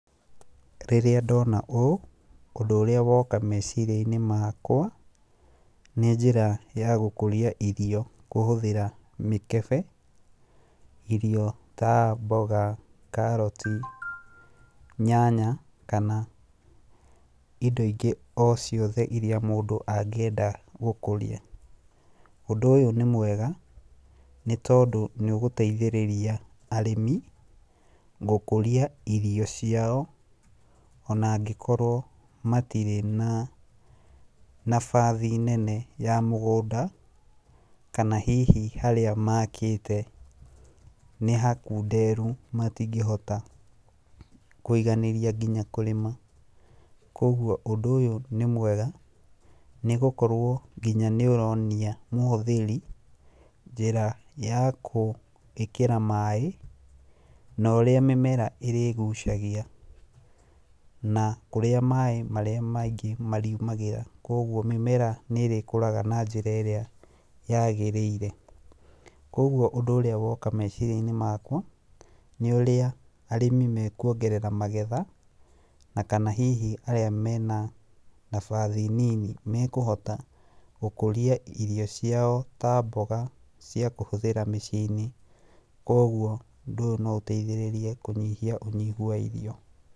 Rĩrĩa ndona ũũ, ũndũ ũrĩa woka meciria-inĩ makwa, nĩ njĩra ya gũkũria irio kũhũthĩra mĩkebe, irio ta mboga, karoti, nyanya, kana indo ingĩ o ciothe iria mũndũ angĩenda gũkũria, ũndũ ũyũ nĩ mwega, nĩ tondũ nĩũgũteithĩrĩria arĩmi gũkũria irio ciao ona angĩkorwo matirĩ na nabathi nene ya mũgũnda, kana hihi harĩa makĩte nĩ hakunderu, matingĩhota kwĩganĩria nginya kũrĩma, koguo ũndũ ũyũ nĩ mwega nĩ gũkorwo nginya nĩ ũronia mũhũthĩri njĩra ya kũĩkĩra maĩ, norĩa mĩmera ĩrĩgucagi, na kũrĩa maĩ marĩa maingĩ mariumagĩra, koguo mĩmera nĩ ĩrĩkũraga na njĩra ĩrĩa yagĩrĩire, koguo ũndũ ũrĩa woka meciria-inĩ makwa, nĩ ũrĩa arĩmi mekwongerera magetha, na kana hihi arĩa mena nabathi nini nĩ mekũhota gũkũria irio ciao ta mboga, cia kũhũthĩra mĩciĩ-inĩ, koguo ũndũ ũyũ no ũteithĩrĩrĩrie kũnyihia ũnyihu wa irio.